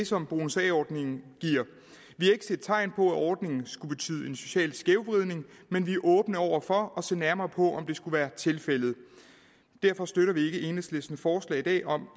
som bonus a ordningen giver vi har ikke set tegn på at ordningen skulle betyde en social skævvridning men vi er åbne over for at se nærmere på om det skulle være tilfældet derfor støtter vi ikke enhedslistens forslag i dag om